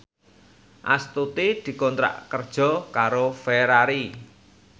Astuti dikontrak kerja karo Ferrari